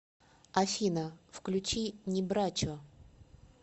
афина включи небрачо